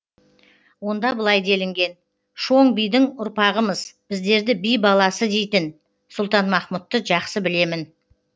онда былай делінген шоң бидің ұрпағымыз біздерді би баласы дейтін сұлтанмахмұтты жақсы білемін